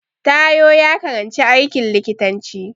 Taiwo ya karanci aikin likitanci